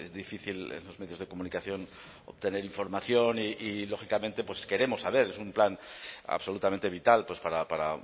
difícil en los medios de comunicación obtener información y lógicamente pues queremos saber es un plan absolutamente vital para